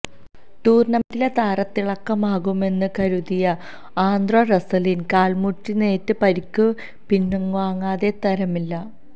ടൂര്ണമെന്റിലെ താരത്തിളക്കമാകുമെന്ന് കരുതിയ ആന്ദ്രെ റസ്സലിന് കാല്മുട്ടിനേറ്റ് പരിക്ക് പിന്വാങ്ങാതെ തരമില്ല